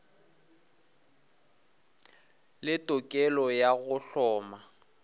le tokelo ya go hloma